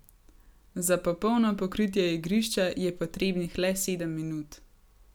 Za popolno pokritje igrišča je potrebnih le sedem minut.